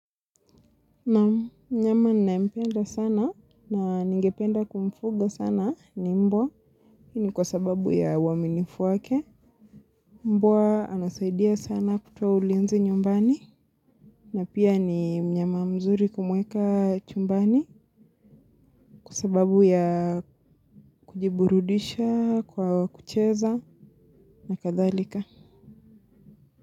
Naam, mnyama na mpenda sana na ningependa kumfuga sana ni mbwa. Hii ni kwa sababu ya uaminifu wake. Mbwa anasaidia sana kutoa ulinzi nyumbani. Na pia ni mnyama mzuri kumweka chumbani kwa sababu ya kujiburudisha, kwa kucheza na kadhalika.